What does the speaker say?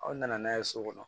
Aw nana n'a ye so kɔnɔ